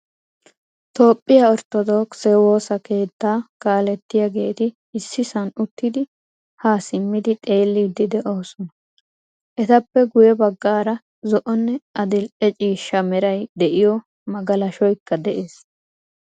Toophphiyaa orttodokise woosaa keetta kaaletiyageti issisan uttidi ha simmidi xeelidi deosona. Etappe guye baggaara zo'onne adil'ee ciishshaa meray de'iyo magalalshoyka de'ees.